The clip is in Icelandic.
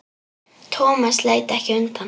Thomas leit ekki undan.